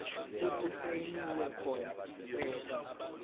okusayinwe khona isicelo